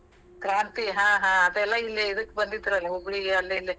ಕ್ರಾಂತಿ ಹಾ ಹಾ ಅದೆಲ್ಲಾ ಇಲ್ಲೇ ಇದಕ್ ಬಂದಿದ್ರಲ್ಲ ಹುಬ್ಳಿಗೆ ಅಲ್ಲೇ ಇಲ್ಲೇ.